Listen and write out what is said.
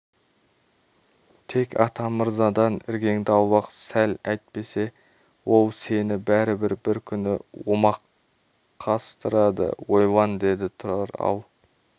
тек атамырзадан іргеңді аулақ сал әйтпесе ол сені бәрібір бір күні омақастырады ойлан деді тұрар ал